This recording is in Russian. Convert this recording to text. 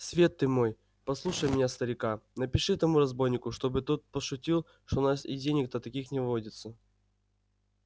свет ты мой послушай меня старика напиши этому разбойнику что бы тот пошутил что у нас и денег-то таких не водится